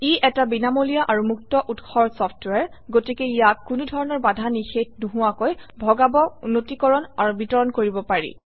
ই এটা বিনামূলীয়া আৰু মুক্ত উৎসৰ চফট্ৱেৰ গতিকে ইয়াক কোনো ধৰণৰ বাধা নিষেধ নোহোৱাকৈ ভগাব উন্নীতকৰণ আৰু বিতৰণ কৰিব পাৰি